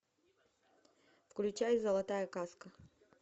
включай золотая каска